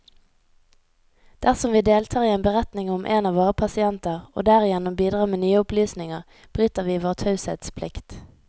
Dersom vi deltar i en beretning om en av våre pasienter, og derigjennom bidrar med nye opplysninger, bryter vi vår taushetsplikt.